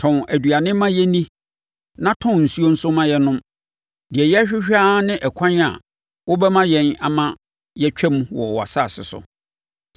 Tɔn aduane ma yɛnni na tɔn nsuo nso ma yɛnnom. Deɛ yɛrehwehwɛ ara ne ɛkwan a wobɛma yɛn ama yɛatwam wɔ wʼasase so,